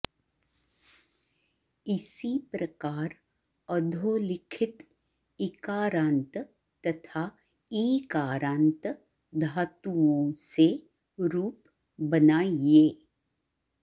इसी प्रकार अधोलिखित इकारान्त तथा ईकारान्त धातुओं से रूप बनाइये